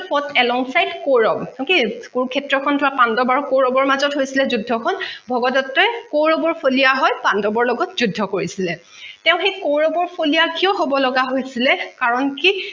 along side kaurav okay Kurukshetra খন তোমাৰ পাণ্ডৱ আৰু কৌৰৱৰ মাজত হৈছিলে যুদ্ধখন ভগদট্তই কৌৰৱৰ ফলিয়া হৈ পাণ্ডৱৰ লগত যুদ্ধ কৰিছিলে তেঁও সেই কৌৰৱৰ ফলিয়া কিয় হব লগা হৈচিলে কাৰণ কি